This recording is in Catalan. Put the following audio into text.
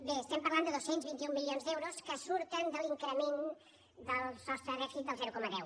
bé estem parlant de dos cents i vint un milions d’euros que surten de l’increment del sostre de dèficit del zero coma deu